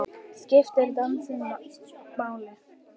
Skiptir dansinn máli?